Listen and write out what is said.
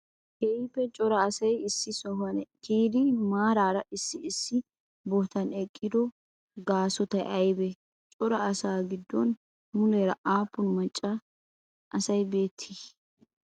keehippe cora asay issi sohuwa kiyyidi maraara issi issi bootan eqqido gasotay aybee? cora asaa giddon muleera appun maccaa asay beetti?